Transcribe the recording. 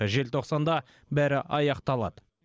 желтоқсанда бәрі аяқталады